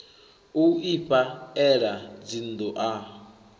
u ifha ela dzinnḓu a